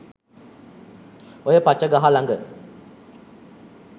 ඔය පච ගහ ළඟ